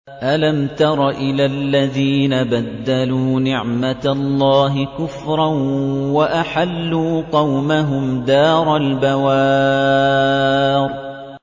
۞ أَلَمْ تَرَ إِلَى الَّذِينَ بَدَّلُوا نِعْمَتَ اللَّهِ كُفْرًا وَأَحَلُّوا قَوْمَهُمْ دَارَ الْبَوَارِ